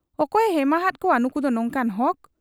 ᱚᱠᱚᱭᱮ ᱮᱢᱟᱦᱟᱫ ᱠᱚᱣᱟ ᱱᱩᱠᱩᱫᱚ ᱱᱚᱝᱠᱟᱱ ᱦᱚᱠ !